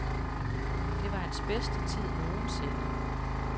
Det var hans bedste tid nogensinde.